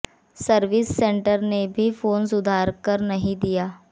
service centre ने भी phone सुधार कर नहीं दिया